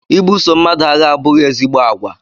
I buso mmadụ agha abụghị ezigbo àgwà